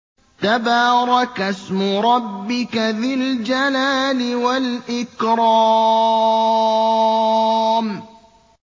تَبَارَكَ اسْمُ رَبِّكَ ذِي الْجَلَالِ وَالْإِكْرَامِ